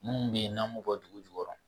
Munnu be yen n'an m'u bɔ dugu jukɔrɔ